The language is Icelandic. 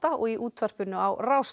og í útvarpinu á Rás